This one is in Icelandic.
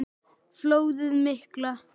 Flóðið mikla